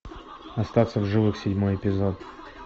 остаться в живых седьмой эпизод